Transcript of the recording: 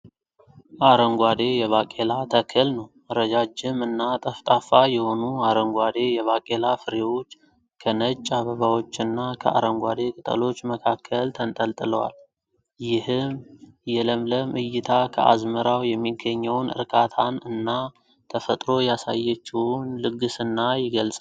አረንጓዴ የባቄላ ተክል ነው። ረጃጅም እና ጠፍጣፋ የሆኑ አረንጓዴ የባቄላ ፍሬዎች ከነጭ አበባዎችና ከአረንጓዴ ቅጠሎች መካከል ተንጠልጥለዋል። ይህ የለምለም ዕይታ ከአዝመራው የሚገኘውን እርካታን እና ተፈጥሮ ያሳየችውን ልግስና ይገልጻል።